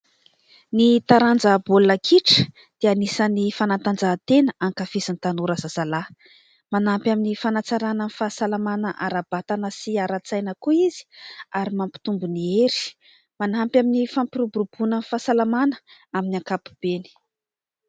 Ny taranja baolina kitra dia anisan'ny fanatanjahantena ankafizin'ny tanora zazalahy. Manampy amin'ny fanatsarana ny fahasalamana ara-batana sy ara-tsaina koa izy ary mampitombo ny hery. Manampy amin'ny fampiroboroboanan'ny fahasalamana amin'ny ankapobeny.